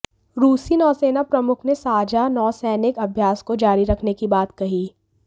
रूसी नौसेना प्रमुख ने साझा नौसैनिक अभ्यास को जारी रखने की बात कही